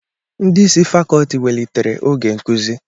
Ndị isi fàkọọtị wèlịtèré oge nkuzi